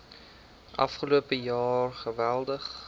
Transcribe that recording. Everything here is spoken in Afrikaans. afgelope jaar geweldig